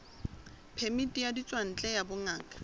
phemiti ya ditswantle ya bongaka